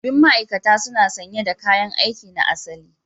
Sabbin ma'aikata suna sanye da kayan aiki na asali